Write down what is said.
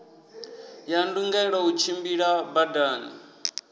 ya ndungelo u tshimbila badani